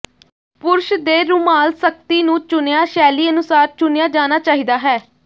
ਪੁਰਸ਼ ਦੇ ਰੁਮਾਲ ਸਖਤੀ ਨੂੰ ਚੁਣਿਆ ਸ਼ੈਲੀ ਅਨੁਸਾਰ ਚੁਣਿਆ ਜਾਣਾ ਚਾਹੀਦਾ ਹੈ